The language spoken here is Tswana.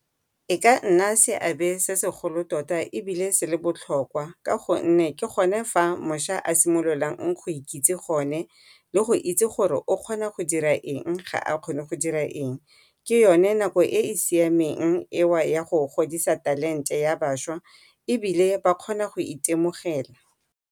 E ka nna seabe se segolo tota ebile se le botlhokwa ka gonne ke gone fa mošwa a simololang go ikitse gone, le go itse gore o kgona go dira eng ga a kgone go dira eng. Ke yone nako e e siameng eo ya go godisa talente ya bašwa ebile ba kgone go itemogela.